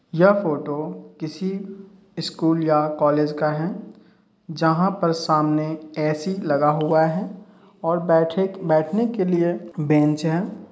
यह फोटो किसी स्कुल या कॉलेज का है जहाँ पर सामने एसी लगा हुआ है और बेठे बेठने के लिए बेंच है।